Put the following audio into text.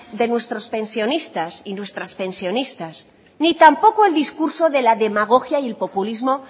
de nuestros pensionistas y nuestras pensionistas ni tampoco el discurso de la demagogia y el populismo